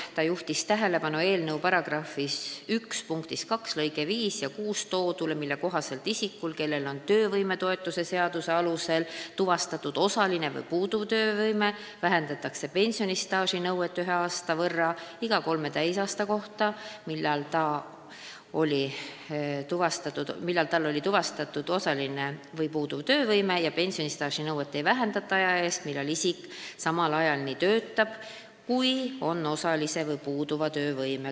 Ta juhtis tähelepanu eelnõu § 1 punkti 2 lõigetes 5 ja 6 toodule, mille kohaselt isikul, kellel on töövõimetoetuse seaduse alusel tuvastatud osaline või puuduv töövõime, vähendatakse pensionistaaži nõuet ühe aasta võrra iga kolme täisaasta kohta, millal tal oli tuvastatud osaline või puuduv töövõime, ja pensionistaaži nõuet ei vähendata aja eest, kui isik töötab samal ajal, millal tal on tuvastatud osaline või puuduv töövõime.